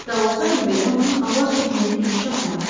Hətta olsaydı belə onun avar çəkməyə gücü çatmazdı.